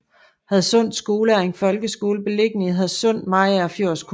Hadsund Skole er en folkeskole beliggende i Hadsund i Mariagerfjord Kommune